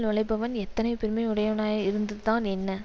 நுழைபவன் எத்தனைப் பெருமை உடையவனாய் இருந்துதான் என்ன